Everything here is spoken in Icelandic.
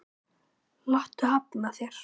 Láttu hafna þér.